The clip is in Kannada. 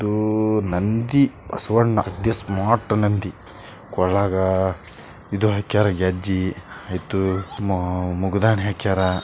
ಇದು ನಂದಿ ಬಸವಣ್ಣ ಅಗದಿ ಸ್ಮಾರ್ಟ್ ನಂದಿ ಕೊಳಗ ಇದು ಹಾಕ್ಯಾರೇ ಗೆಜ್ಜಿ ಆಯ್ತು ಮಾ ಮುಗದಾನಿ ಹಾಕ್ಯಾರ್.